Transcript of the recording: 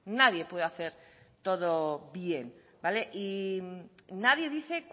nadie puede hacer todo bien y nadie dice